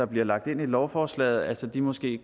bliver lagt ind i lovforslaget måske